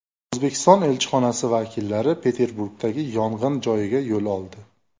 O‘zbekiston elchixonasi vakillari Peterburgdagi yong‘in joyiga yo‘l oldi.